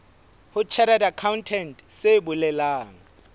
ho chartered accountant se bolelang